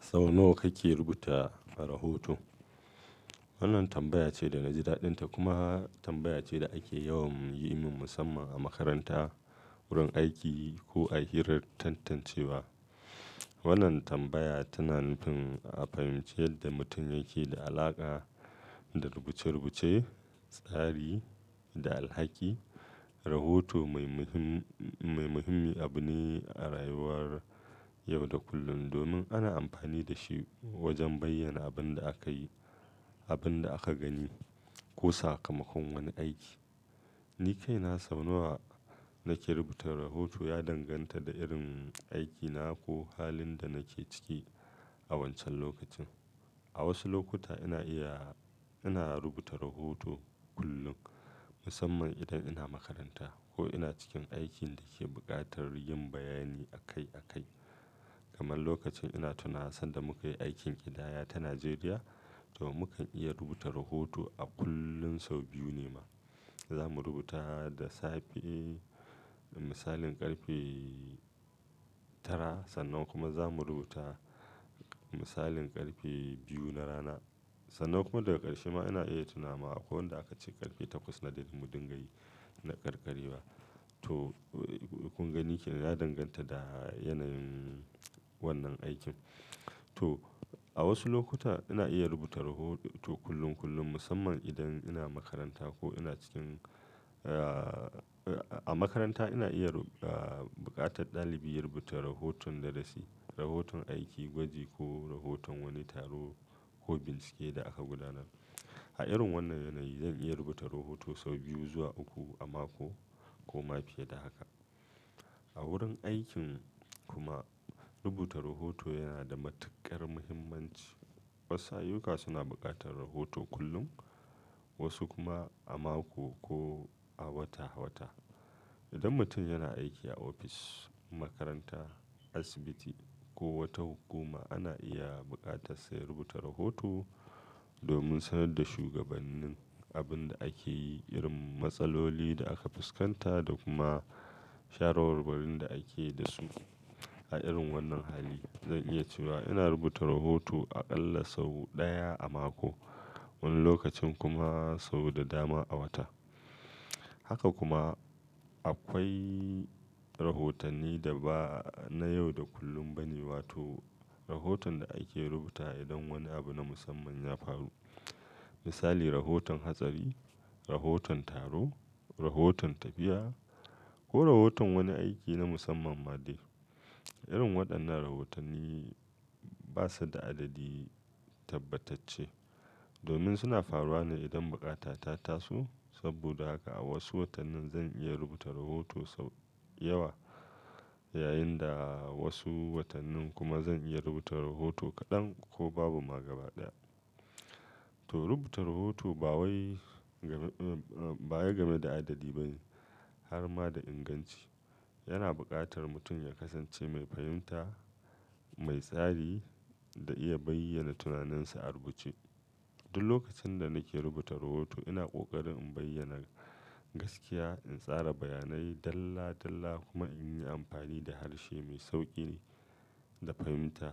Sau nawa kake rubuta rahoto? Wannan tambaya ce da na ji daɗinta kuma tambaya ce da ake yawan yimin musamman a makaranta, wurin aiki ko a hirar tantancewa, Wannan tambaya tana nufin a fahimci yadda mutum yake da alaƙa da rubuce-rubuce, tsari da alhaki, Rahoto mai muhimmi abu ne a rayuwar yau da kullum, domin ana amfani da shi wajen bayyana abin da aka yi, abin da aka gani ko sakamakon wani aiki. Ni kai na sau nawa nake rubuta rahoto ya danganta da irin aikina ko halin da nake ciki a wancan lokacin. A wasu lokuta ina iya-- ina rubuta rahoto kullum, musamman idan ina makaranta ko ina cikin aikin da ke buƙatar yin bayani akai-akai. Kamar lokacin ina tunawa sanda muka yi aikin ƙidaya ta Najeriya, to mukan iya rubuta rahoto a kullum sau biyu ne ma. Za mu rubuta da safe misalin ƙarfe tara sannan kuma za mu rubuta misalin ƙarfe biyu na rana. Sannan kuma daga ƙarshe ma ina iya tunawa akwai wanda aka ce ƙarfe takwas na dare mu dinga yi na ƙarƙarewa. To kun gani kenan ya danganta da yanayin wannan aikin. To a wasu lokuta ina iya rubuta rahoto kullum kullum musamman idan ina makaranta ko ina cikin, ah, a makaranta ina iya, ah, buƙatar ɗalibi ya rubuta rahoton darasi, rahoton aiki, gwaji ko rahoton wani taro, ko bincike da aka gudanar. A irin wannan yanayi zan iya rubuta rahoto sau biyu zuwa uku a mako, ko ma fiye da haka. A wurin aikin kuma rubuta rahoto yana da matuƙar muhimmanci. Wasu ayyuka suna buƙatar rahoto kullum, wasu kuma a mako ko a wata-wata. Idan mutum yana aiki a ofis, makaranta, asibiti ko wata hukuma ana iya buƙatar sa ya rubuta rahoto, domin sanar da shugabannin abin da ake yi, irin matsaloli da aka fuskanta da kuma shawarwarin da ake da su, A irin wannan hali zan iya cewa ina rubuta rahoto aƙalla sau ɗaya a mako. Wani lokacin kuma sau da dama a wata. Haka kuma akwai rahotanni da ba na yau da kullum ba ne wato rahoton da ake rubutawa idan wani abu na musamman ya faru. Misali rahoton hatsari, rahoton taro, rahoton tafiya ko rahoton wani aiki na musamman ma dai. Irin waɗannan rahotanni ba su da adadi tabbatacce, domin suna faruwa ne idan buƙata ta tasu. Saboda haka a wasu watannin zan iya rubuta rahoto sau yawa, yayin da wasu watannin kuma zan iya rubuta rahoto kaɗan ko babu ma gaba ɗaya. To rubuta rahoto ba wai game, ba wai game da adadi ba ne, har ma da inganci. Yana buƙatar mutum ya kasance mai fahimta, mai tsari da iya bayyana tunaninsa a rubuce. Duk lokacin da nake rubuta rahoto ina ƙoƙarin in bayyana gaskiya, in tsara bayanai dalla-dalla kuma in yi amfani da harshe mai sauƙi ne da fahimta.